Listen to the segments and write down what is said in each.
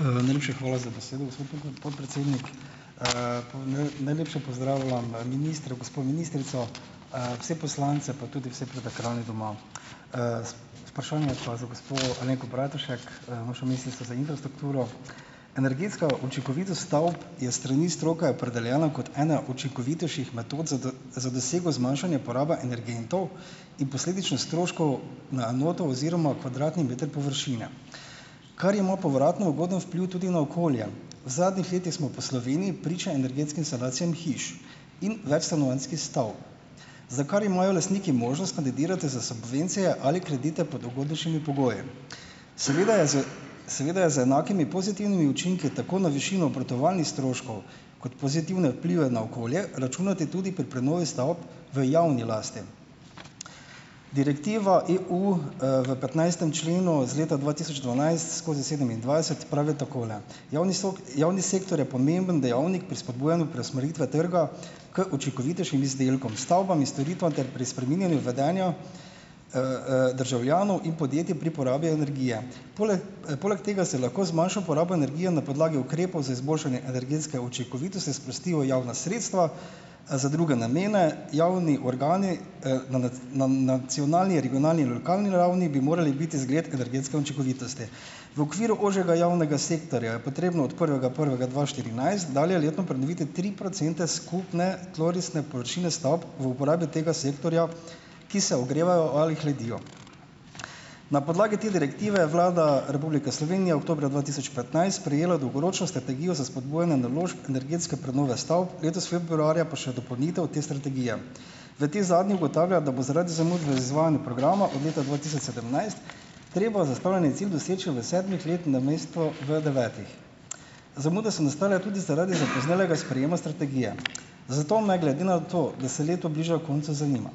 Najlepša hvala za besedo, gospod podpredsednik. Najlepše pozdravljam gospo ministrico, vse poslance pa tudi vse pred ekrani doma. Vprašanje je pa za gospo Alenko Bratušek, vašo ministrico za infrastrukturo. Energetska učinkovitost stavb je s strani stroke opredeljena kot ena učinkovitejših metod za za dosego zmanjšanja porabe energentov in posledično stroškov na enoto oziroma kvadratni meter površine. Kar ima povratno ugoden vpliv tudi na okolje. V zadnjih letih smo po Sloveniji priča energetskim sanacijam hiš in večstanovanjskih stavb. Za kar imajo lastniki možnost kandidirati za subvencije ali kredite pod ugodnejšimi pogoji. Seveda je z ... Seveda je za enakimi pozitivnimi učinki tako na višino obratovalnih stroškov kot pozitivne vplive na okolje računati tudi pri prenovi stavb v javni lasti. Direktiva EU, v petnajstem členu z leta dva tisoč dvanajst skozi sedemindvajset pravi takole: "Javni javni sektor je pomemben dejavnik pri spodbujanju preusmeritve trga k učinkovitejšim izdelkom, stavbam in storitvam ter pri spreminjanju vedenja, državljanov in podjetjem pri porabi energije." Pol, Poleg tega se lahko z manjšo porabo energije na podlagi ukrepov za izboljšanje energetske učinkovitosti sprostijo javna sredstva za druge namene, javni organi, na na nacionalni, regionalni in lokalni ravni bi morali biti zgled energetske učinkovitosti. V okviru ožjega javnega sektorja je potrebno od prvega prvega dva štirinajst dalje letno pridobiti tri procente skupne tlorisne površine stavb v uporabi tega sektorja, ki se ogrevajo ali hladijo. Na podlagi te direktive je Vlada Republike Slovenije oktobra dva tisoč petnajst sprejela dolgoročno strategijo za spodbujanje naložb energetske prenove stavb, letos februarja pa še dopolnitev te strategije. V tej zadnji ugotavlja, da bo zaradi zamud v izvajanju programa od leta dva tisoč sedemnajst treba zastavljeni cilj doseči v sedmih letih, namesto v devetih. Zamude so nastale tudi zaradi zapoznelega sprejema strategije. Zato me, glede na to, da se leto bliža koncu, zanima,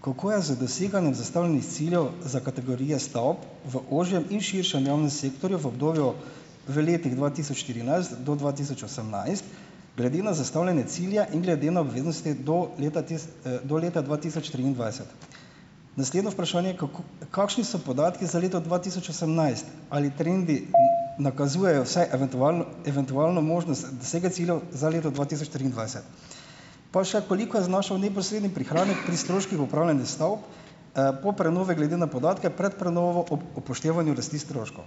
kako je z doseganjem zastavljenih ciljev za kategorije stavb v ožjem in širšem javnem sektorju, v obdobju v letih dva tisoč štirinajst do dva tisoč osemnajst, glede na zastavljene cilje in glede na obveznosti do leta do leta dva tisoč triindvajset. Naslednje vprašanje, kako kakšni so podatki za leto dva tisoč osemnajst? Ali trendi nakazujejo vsaj eventualen eventualno možnost dosega ciljev za leto dva tisoč triindvajset? Pa še, koliko je znašal neposredni prihranek pri stroških upravljanja stavb, po prenovi glede na podatke pred prenovo ob upoštevanju rasti stroškov?